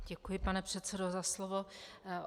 Děkuji, pane předsedo, za slovo.